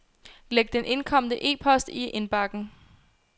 Læg den indkomne e-post i indbakken.